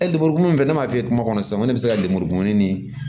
E lemuru min filɛ ne m'a f'i ye kuma kɔnɔ sisan ne bɛ se ka lemuru kumuni